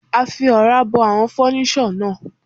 A fi Ọ̀rá bo àwọn fọ́níṣọ̀ náà.